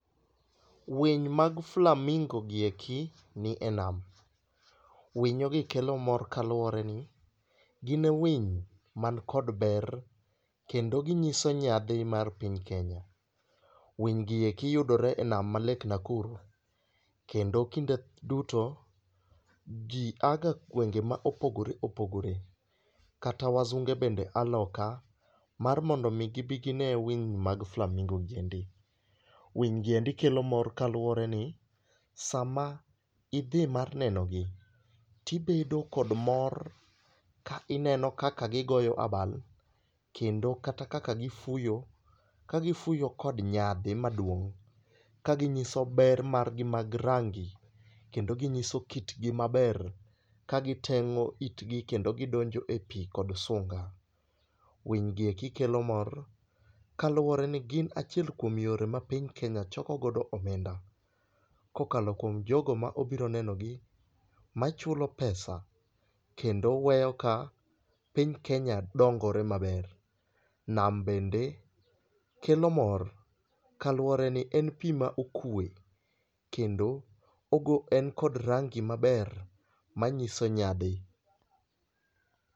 Winy mag flamingo gi eki ni e nam. Winyo gi kelo mor kaluwore ni gine winy man kod ber kendo ginyiso nyadhi mar piny Kenya. Winy gi eki yudore e nam mar lake Nakuru. Kendo kinde duto, ji aga gwenge ma opogore opogore kata wasunge bende a loka mar mondo mi gibi gi ne winy mag flamingo gi endi. Winy giendi kelo mor kaluwore ni sama gidhi mar neno gi tibedo kod mor ka ineno kaka gigoyo abal kendo kata kaka gifuyo. Kagifuyo kod nyadhi maduong'. Kaginyiso ber gi mag rangi. Kendo ginyiso kit gi maber ka giteng'o it gi kendo gidonjo e pi kod sunga. Winj gi eki kelo mor kaluwore ni gin achiel kuom yore ma piny kenya choko go omenda kokalo kuom jogo mabiro neno gi machulo pesa kendo weyo ka piny Kenya dongore maber. Nam bende kelo mor kaluwore ni en pi ma okwe. Kendo en kod rangi maber manyiso nyadhi.